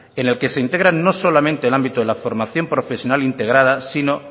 en el que se integran no solamente el ámbito de la formación profesional integrada sino